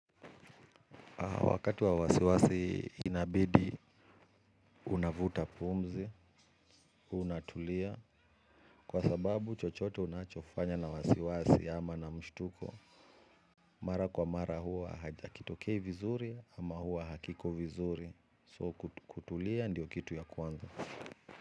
Wakati wa wasiwasi inabidi, unavuta pumzi, unatulia, kwa sababu chochote unachofanya na wasi wasi ama na mshtuko. Mara kwa mara huwa hakitokei vizuri ama huwa hakiko vizuri, so kutulia ndio kitu ya kwanza.